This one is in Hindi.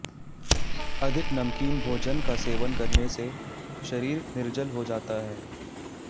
अधिक नमकीन भोजन का सेवन करने से शरीर निर्जल हो जाता है